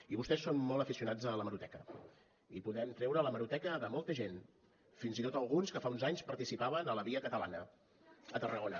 i vostès són molt aficionats a l’hemeroteca i podem treure l’hemeroteca de molta gent fins i tot alguns que fa uns anys participaven a la via catalana a tarragona